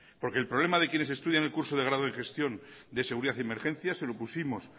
porque el problema de quienes estudian el curso de grado en gestión de seguridad y emergencias se lo pusimos